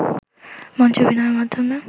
মঞ্চে অভিনয়ের মাধ্যমে